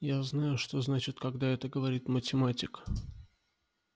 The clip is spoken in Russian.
я знаю что значит когда это говорит математик